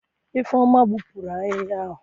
Ifeoma gbupuru ahihia ahu?